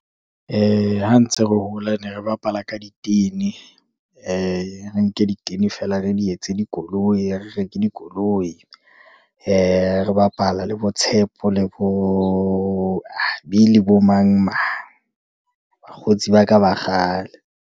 Ha ntse re hola ne re bapala ka ditene, re nke ditene feela re di etse dikoloi, re reke dikoloi re bapala le bo Tshepo, le bo Habi, le bo mang, mang. Bakgotsi ba ka ba kgale.